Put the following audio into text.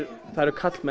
það eru karlmenn